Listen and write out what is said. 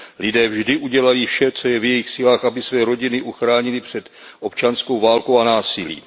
Lidé vždy udělají vše, co je v jejich silách, aby své rodiny uchránili před občanskou válkou a násilím.